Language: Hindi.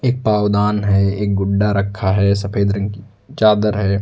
एक पावदान है एक गुड्डा रखा है सफेद रंग की चादर है।